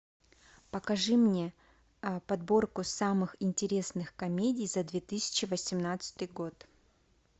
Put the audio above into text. покажи мне подборку самых интересных комедий за две тысячи восемнадцатый год